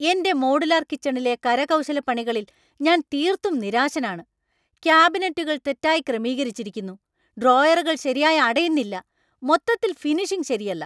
എന്‍റെ മോഡുലാർ കിച്ചണിലെ കരകൗശലപ്പണികളിൽ ഞാൻ തീർത്തും നിരാശനാണ്. ക്യാബിനറ്റുകൾ തെറ്റായി ക്രമീകരിച്ചിരിക്കുന്നു, ഡ്രോയറുകൾ ശരിയായി അടയുന്നില്ല, മൊത്തത്തിൽ ഫിനിഷിംഗ് ശരിയല്ല.